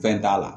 Fɛn t'a la